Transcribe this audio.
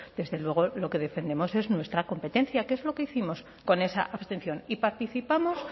desde luego lo que defendemos es nuestra competencia que es lo que hicimos con esa abstención y participamos